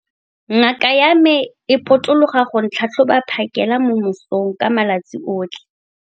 Ngaka ya me e potologa go tlhatlhoba phakêla mo mosong ka malatsi otlhe.